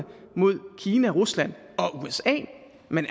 mod kina rusland og usa men